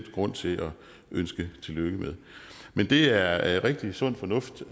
er grund til at ønske tillykke med men det er er rigtig sund fornuft